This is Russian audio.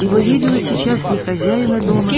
его видела сейчас не хозяина дома